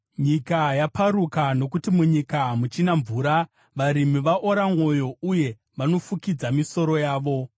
Nyika yaparuka nokuti munyika hamuchina mvura; varimi vaora mwoyo uye vanofukidza misoro yavo.